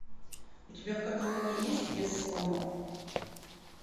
у тебя в каталоге есть вес слонов